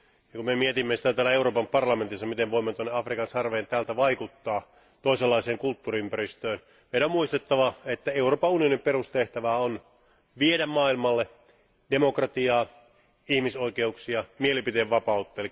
Kun me mietimme täällä Euroopan parlamentissa, miten voimme tuonne Afrikan sarveen täältä vaikuttaa, toisenlaiseen kulttuuriympäristöön. Meidän on muistettava, että Euroopan unionin perustehtävä on viedä maailmalle demokratiaa, ihmisoikeuksia ja mielipiteenvapautta.